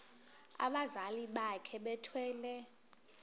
abazali bakhe bethwele